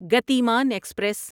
Gatiman express